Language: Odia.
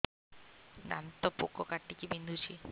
ଦାନ୍ତ ପୋକ କାଟିକି ବିନ୍ଧୁଛି